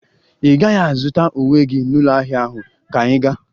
Ị gaghị azụta uwe gị n'ụlọ ahịa ahụ, ka ị ga-?